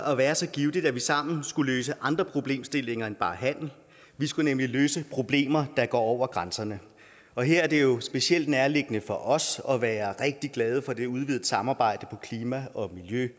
at være så givtigt at vi sammen skulle løse andre problemstillinger end bare handel vi skulle nemlig løse problemer der går over grænserne og her er det jo specielt nærliggende for os at være rigtig glade for det udvidede samarbejde på klima og